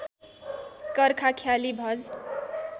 कर्खा ख्याली भज